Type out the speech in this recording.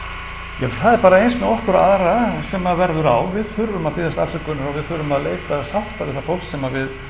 ja það er bara eins með okkur og aðra sem að verður á við þurfum að biðjast afsökunar og við þurfum að leita sátta við það fólk sem við